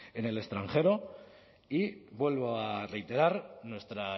en el extranjero y vuelvo a reiterar nuestra